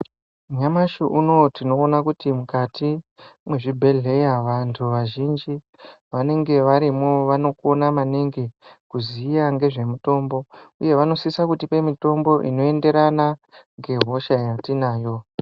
Nyamashi unowu tinoona kuti mukati mwe zvibhedhleya vantu vazhinji vanenge varimo vano kona maningi kuziya ngezve mutombo uye vano sisa kutipe mitombo ino enderana nge hosha ya tinayo.